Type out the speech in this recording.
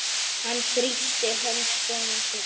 Hann þrýsti hönd sonar síns.